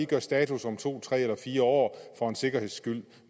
gøre status om to tre eller fire år for en sikkerheds skyld